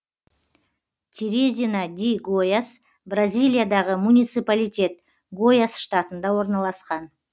терезина ди гояс бразилиядағы муниципалитет гояс штатында орналасқан